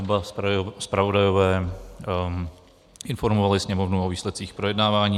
Oba zpravodajové informovali Sněmovnu o výsledcích projednávání.